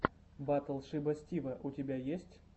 батл шиба стива у тебя есть